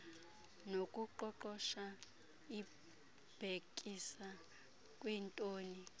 nokuqoqosha ibhekisa kwintoni